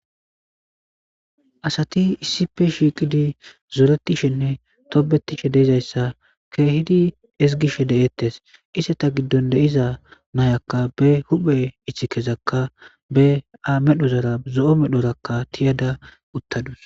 Asati issife shiiqidi zooretishenne toobetishe deizayssa keehidi ezgishe de'ettes ise ta giddon deiza nayakka be huphe ichi kezakka be a medhozara zo'o medhorakka tiyada uttadus.